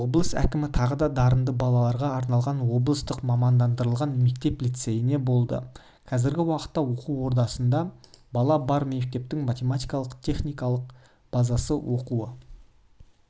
облыс әкімі тағы да дарынды балаларға арналған облыстық мамандандырылған мектеп-лицейінде болды қазіргі уақытта оқу ордасында бала бар мектептің материалдық-техникалық базасы оқу